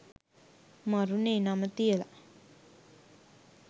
මරුනේ නම තියලා.